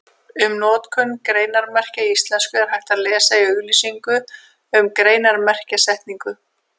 Um notkun greinarmerkja í íslensku er hægt að lesa í auglýsingu um greinarmerkjasetningu.